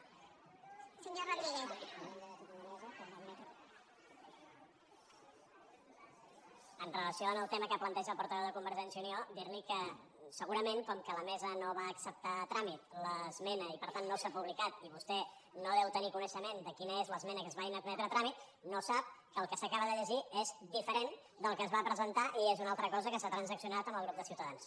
amb relació al tema que planteja el portaveu de convergència i unió dir li que segurament com que la mesa no va acceptar a tràmit l’esmena i per tant no s’ha publicat i vostè no deu tenir coneixement de quina és l’esmena que es va inadmetre a tràmit no sap que el que s’acaba de llegir és diferent del que es va presentar i és una altra cosa que s’ha transaccionat amb el grup de ciutadans